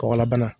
Kɔgɔlabana